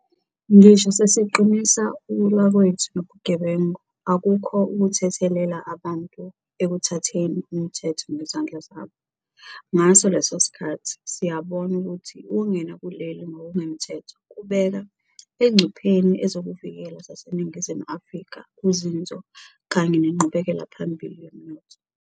Ngisho sesiqinisa ukulwa kwethu nobugebengu, akukho ukuthethelela abantu ekuthatheni umthetho ngezandla zabo. Ngaso leso sikhathi, siyabona ukuthi ukungena kuleli ngokungemthetho kubeka engcupheni ezokuvikela zaseNingizimu Afrika, uzinzo kanye nenqubekelaphambili yomnotho.